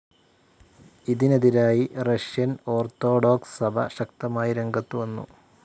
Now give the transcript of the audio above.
ഇതിനെതിരായി Russian orthodox സഭ ശക്തമായി രംഗത്തു വന്നു.